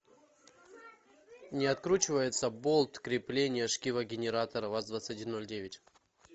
не откручивается болт крепления шкива генератора ваз двадцать один ноль девять